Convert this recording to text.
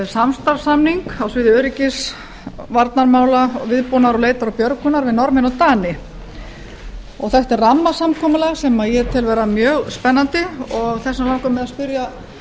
samstarfssamning á sviði öryggis og varnarmála og viðbúnaðar leitar og björgunar við norðmenn og dani þetta er rammasamkomulag sem ég tel vera mjög spennandi og þess vegna langar mig að spyrja